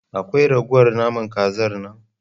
Akwai ragowar naman Kazar nan?